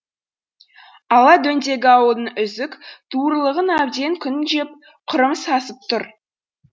ала дөңдегі ауылдың үзік туырлығын әбден күн жеп құрым сасып тұр